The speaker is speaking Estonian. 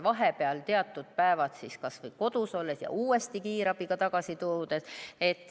Vahepeal on ta teatud päevad kas või kodus ja siis tuuakse uuesti kiirabiga tagasi.